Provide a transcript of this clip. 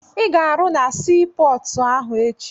Ị ga-arụ na sii pọọtụ ahụ echi!